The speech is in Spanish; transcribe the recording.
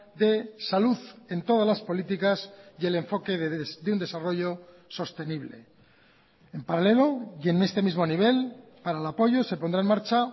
de salud en todas las políticas y el enfoque de un desarrollo sostenible en paralelo y en este mismo nivel para el apoyo se pondrá en marcha